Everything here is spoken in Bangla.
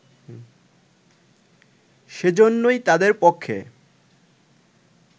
সেইজন্যই তাদের পক্ষে